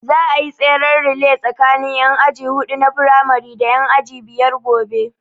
Za a yi tseren relay tsakanin ƴan aji huɗu na firamari da ƴan aji biyar gobe